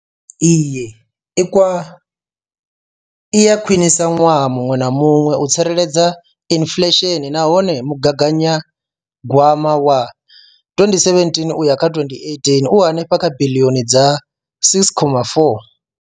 Iyi i a khwiniswa ṅwaha muṅwe na muṅwe u tsireledza inflesheni nahone mugaganyagwama wa 2017 uya kha 2018 u henefha kha biḽioni dza R6.4.